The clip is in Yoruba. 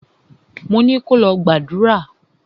Mo ni kò lọ gbàdúrà!